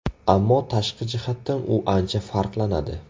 Ammo tashqi jihatdan u ancha farqlanadi.